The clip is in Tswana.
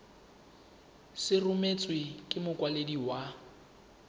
se rebotswe ke mokwadisi wa